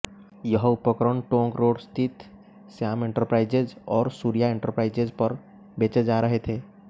यह उपकरण टोंक रोड स्थित श्याम एंटरप्राइजेज और सूर्या एंटरप्राइजेज पर बेचे जा रहे थे